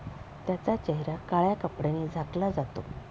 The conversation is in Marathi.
त्याचा चेहरा काळय़ा कपडय़ाने झाकला जातो.